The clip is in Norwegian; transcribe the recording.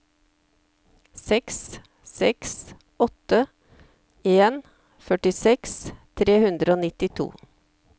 seks seks åtte en førtiseks tre hundre og nittito